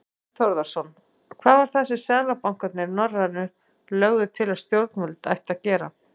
Þorbjörn Þórðarson: Hvað var það sem seðlabankarnir, norrænu, lögðu til að stjórnvöld ættu að gera?